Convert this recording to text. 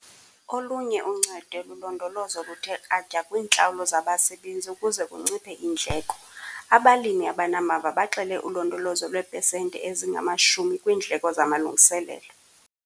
Olunye uncedo lulondolozo oluthe kratya kwiintlawulo zabasebenzi ukuze kunciphe iindleko. Abalimi abanamava baxele ulondolozo lweepesenti ezingama-10 kwiindleko zamalungiselelo.